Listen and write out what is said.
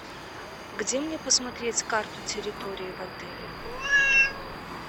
где мне посмотреть карту территории в отеле